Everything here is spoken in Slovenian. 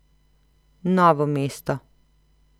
Novo mesto.